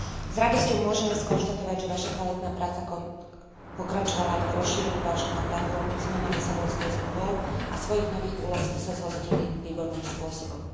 S radosťou môžeme skonštatovať, že vaša kvalitná práca pokračovala aj po rozšírení vášho mandátu ombudsmana Lisabonskou zmluvou a svojich nových úloh ste sa zhostili výborným spôsobom.